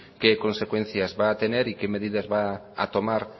qué consecuencias va a tener y qué medidas va a tomar